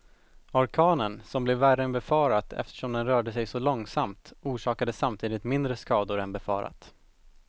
Orkanen som blev värre än befarat eftersom den rörde sig så långsamt, orsakade samtidigt mindre skador än befarat.